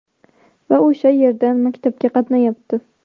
Va o‘sha yerdan maktabga qatnayapti.